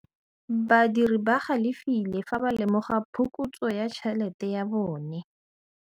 Badiri ba galefile fa ba lemoga phokotsô ya tšhelête ya bone.